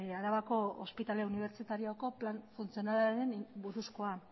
arabako ospitale unibertsitarioko plan funtzionalari buruzkoa